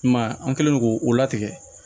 I m'a ye an kɛlen do k'o latigɛ